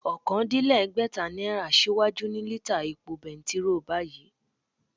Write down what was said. Okòódínlẹ́gbẹ́ta náírà síwájú ni lítà epo bẹntiróò báyìí